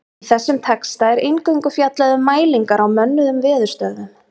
Í þessum texta er eingöngu fjallað um mælingar á mönnuðum veðurstöðvum.